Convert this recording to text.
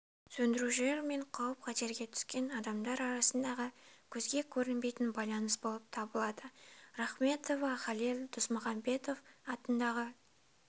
сөндірушілер мен қауіп-қатерге түскен адамдар арасындағы көзге көрінбейтін байланыс болып табылады рахметова халел досмұхамедов атындағы